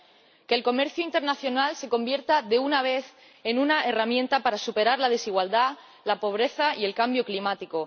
para que el comercio internacional se convierta, de una vez, en una herramienta para superar la desigualdad, la pobreza y el cambio climático